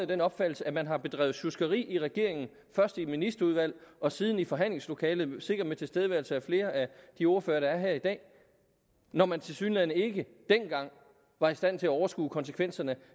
den opfattelse at man har bedrevet sjuskeri i regeringen først i et ministerudvalg og siden i forhandlingslokalet sikkert med tilstedeværelse af flere af de ordførere der er her i dag når man tilsyneladende ikke dengang var i stand til at overskue konsekvenserne